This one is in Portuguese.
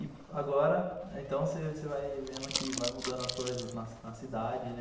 E agora, então, você você vai vendo que, vai mudando as coisas na cidade, né?